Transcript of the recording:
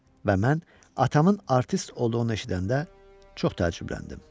Və mən atamın artist olduğunu eşidəndə çox təəccübləndim.